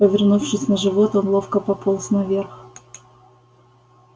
повернувшись на живот он ловко пополз наверх